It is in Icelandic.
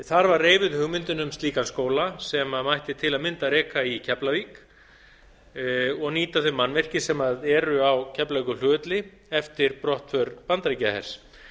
þar var reifuð hugmyndin um slíkan skóla sem mætti til að mynda reka í keflavík og nýta þau mannvirki sem eru á keflavíkurflugvelli eftir brottför bandaríkjahers